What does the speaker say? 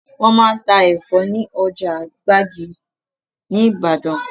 Wọn máa ń ta Ẹ̀fọ́ ni ọjà gbàgì ni Ibadan